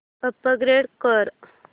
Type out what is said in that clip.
upgrade कर